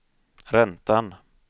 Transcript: räntan